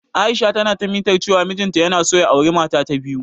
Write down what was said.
Aisha na ta mitar cewa mijin ta yana so ya auri mata ta biyu.